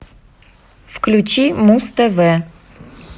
включи муз тв